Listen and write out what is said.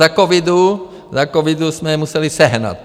Za covidu jsme je museli sehnat.